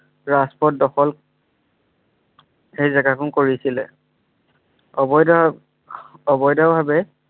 ৰাজপথ দখল সেই জেগাখন কৰিছিলে। অবৈধ অবৈধভাৱে